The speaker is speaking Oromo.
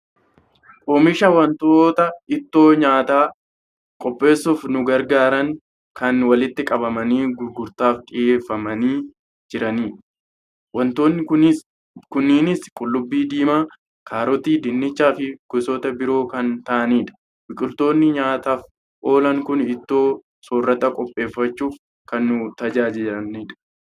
Oomisha wantoota ittoo nyaataa qopheessuuf nu gargaaranii kan walitti qabamanii gurgurtaaf dhiyeeffamanii jiran. Wantoonni kunneenis; qullubbii diimaa, kaarotii, dinnichaa fi gosoota biroo kan ta'anidha. Biqiltoonni nyaataaf oolan kun ittoo soorataa qopheeffachuuf kan nu tajaajilanidha.